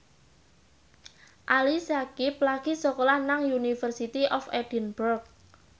Ali Syakieb lagi sekolah nang University of Edinburgh